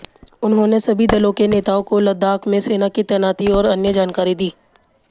उन्होंने सभी दलों के नेताओं को लद्दाख में सेना की तैनाती और अन्य जानकारी दी